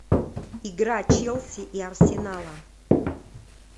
игра челси и арсенала